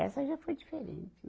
Essa já foi diferente.